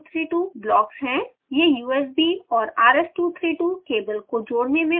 यह usb और rs232 cable को जोड़ने में उपयोग होता है